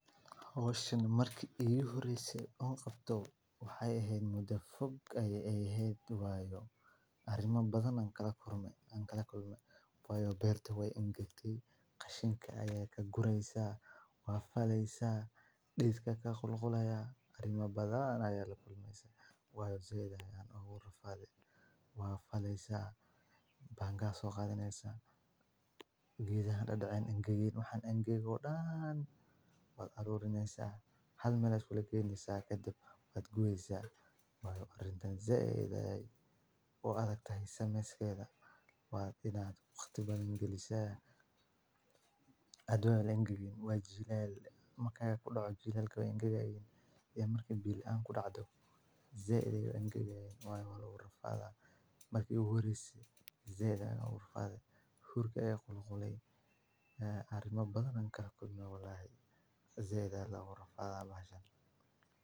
Howshan marki igu horeysay anqabto waxay ehed muda foog ay ehed wayo arima badan ayan kalakulmay wayo beerta wey angagtay qashinka aya kagureysa wa faleysa dididka kaqulqulaya arima badan aya lakulmeysa wayo zaid ayan igu rafaday wa faleysa baanged aya soqadaneysa gedaha dadacen angageen waxan angagy o dan ba arurineysa hal mel aya isugala geyneysa kadib wad gubeysa wayo arintan zaid aya ubadagtahay sameyskeda wa inad waqti badan galisa e marka kudaca jilalka e marka biyo lan kudacay zaid ay angagayan wu rafada marka ugu horeysay hurka aya qulqulay arimabadan marka kalakulmay walahi zaid aya loga rafada bahashan.